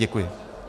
Děkuji.